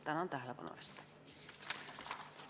Tänan tähelepanu eest!